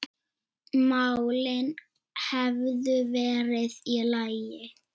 málin hefðu verið í lagi.